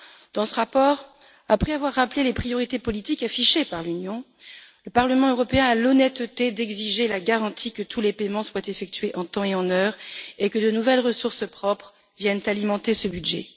Dans ce rapport, après avoir rappelé les priorités politiques affichées par l'Union, le Parlement européen a l'honnêteté d'exiger la garantie que tous les paiements soient effectués en temps et en heure, et que de nouvelles ressources propres viennent alimenter ce budget.